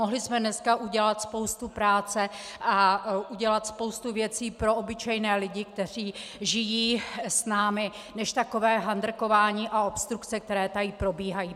Mohli jsme dneska udělat spoustu práce a udělat spoustu věcí pro obyčejné lidi, kteří žijí s námi, než takové handrkování a obstrukce, které tady probíhají.